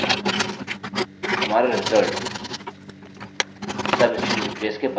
हमारा result substring replace के बराबर है